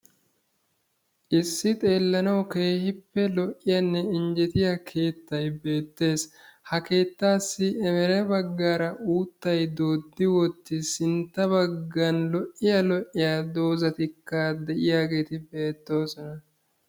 Issi xeelanaw keehippe lo''iyanne injjettiyaa keettaa beettees. ha keettassi emere baggara uuttay doodi wottiis. sintta baggan lo''iyaa lo''iya doozatikka de'iyaageeti beetttoosona.